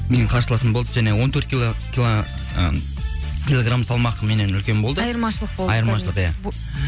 менің қарсыласым болды және он төрт ы килограмм салмақ меннен үлкен болды айырмашылық айырмашылық иә